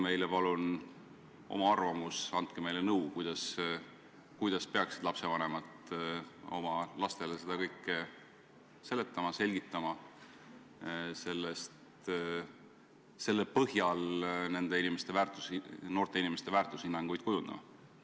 Öelge palun oma arvamus ja andke meile nõu, kuidas peaksid lapsevanemad oma lastele seda kõike seletama-selgitama ja selle põhjal noorte inimeste väärtushinnanguid kujundama.